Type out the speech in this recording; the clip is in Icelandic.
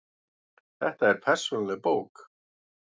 Þetta er persónuleg bók.